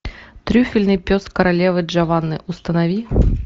трюфельный пес королевы джованны установи